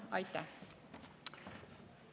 Aitäh!